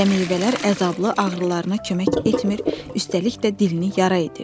Gilə meyvələr əzablı ağrılarına kömək etmir, üstəlik də dilini yara edirdi.